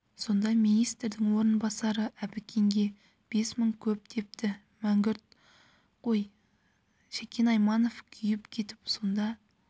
сонда министрдің орынбасары әбікенге бес мың көп депті мәңгүрт қой шәкен айманов күйіп кетіп сонда